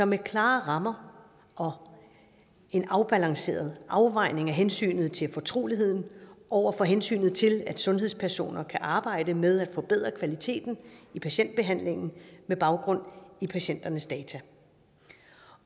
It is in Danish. med klare rammer og en afbalanceret afvejning af hensynet til fortroligheden over for hensynet til at sundhedspersoner kan arbejde med at forbedre kvaliteten i patientbehandlingen med baggrund i patienternes data